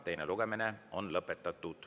Teine lugemine on lõpetatud.